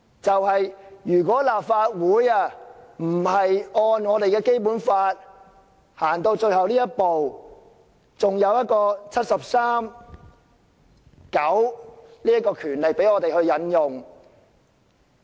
幸好立法會還可按照《基本法》走到最後這一步，還有第七十三條第九項賦予我們權力進行調查。